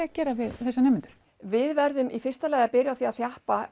að gera við þessa nemendur við verðum í fyrsta lagi að þjappa